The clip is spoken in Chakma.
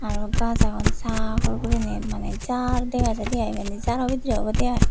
araw gaz agon sagor gurinei mane jar dega jaide i ibeni jaro bidire obode i.